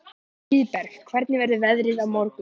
Hlíðberg, hvernig verður veðrið á morgun?